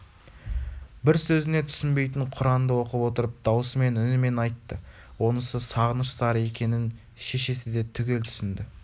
бір сөзіне түсінбейтін құранды оқып отырып даусымен үнімен айтты онысы сағыныш зары екенін шешесі де түгел түсінді